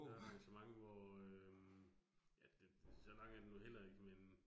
Der er altså mange, hvor øh, ja det så lang er den nu heller ikke men